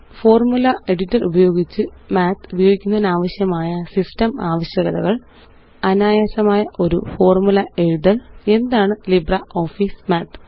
formula editor ഉപയോഗിച്ച് math ഉപയോഗിക്കുന്നതിനാവശ്യമായ system ആവശ്യകതകള് അനായാസമായ ഒരു ഫോര്മുല എഴുതല് എന്താണ് ലിബ്രിയോഫീസ് മാത്ത്